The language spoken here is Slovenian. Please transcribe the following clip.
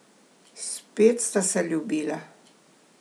Spet sta se ljubila.